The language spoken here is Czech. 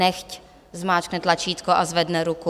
Nechť zmáčkne tlačítko a zvedne ruku.